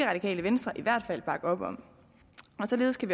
radikale venstre i hvert fald bakke op om og således kan